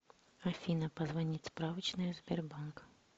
афина позвонить справочная сбербанк